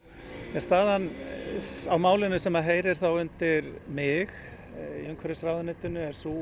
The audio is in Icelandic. er staðan á málinu sem heyrir undir mig í umhverfisráðuneytinu er sú